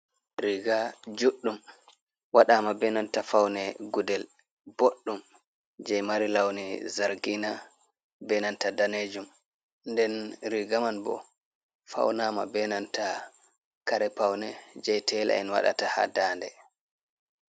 Riga juɗɗum waɗama benanta faune gudel boɗɗum je mari launi zargina benanta danejum, nden riga man bo faunama benanta karepaune jei tela'en waɗata ha daande.